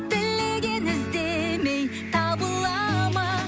тілеген іздемей табыла ма